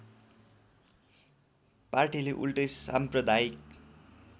पार्टीले उल्टै साम्प्रदायिक